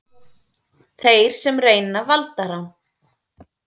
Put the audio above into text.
Þeir sem reyna valdarán